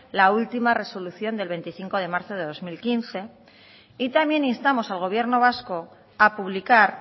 la última resolución del veinticinco de marzo del dos mil quince y también instamos al gobierno vasco a publicar